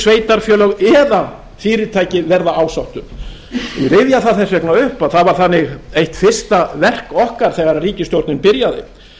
sveitarfélög eða fyrirtæki verða ásátt um ég rifja það þess vegna upp að það var þannig eitt fyrsta verk okkar þegar ríkisstjórnin byrjaði